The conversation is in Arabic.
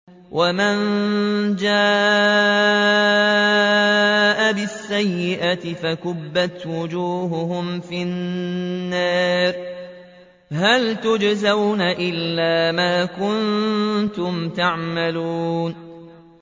وَمَن جَاءَ بِالسَّيِّئَةِ فَكُبَّتْ وُجُوهُهُمْ فِي النَّارِ هَلْ تُجْزَوْنَ إِلَّا مَا كُنتُمْ تَعْمَلُونَ